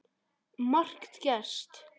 Margt gerst.